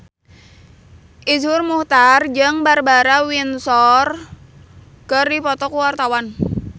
Iszur Muchtar jeung Barbara Windsor keur dipoto ku wartawan